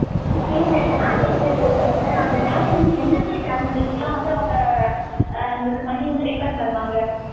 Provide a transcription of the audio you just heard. okay இந்த சொல்ரல்ல, அந்த damage வந்து, எந்த மாதிரி damages க்கு எல்லாம் வந்து, அவங்க, அ, நமக்கு money வந்து, refund பண்ணுவாங்க?